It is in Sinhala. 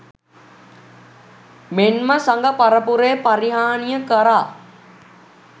මෙන්ම සඟ පරපුරේ පරිහානිය කරා